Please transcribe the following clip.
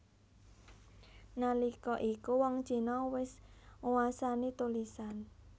Nalika iku wong Cina wis nguwasani tulisan